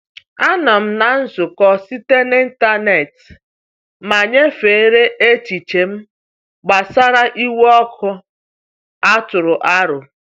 Anọ m na nzukọ site na ịntanetị ma nyefere echiche m gbasara iwu ọkụ a tụrụ aro.